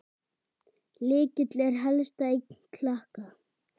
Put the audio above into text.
Lykill er helsta eign Klakka.